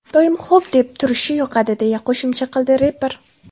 Doim ‘xo‘p’ deb turishi yoqadi”, deya qo‘shimcha qildi reper.